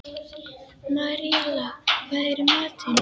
Maríella, hvað er í matinn?